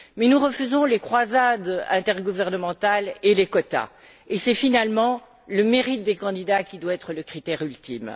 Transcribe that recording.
Mais nous refaisons les croisades intergouvernementales et les quotas, et c'est finalement le mérite des candidats qui doit être le critère ultime.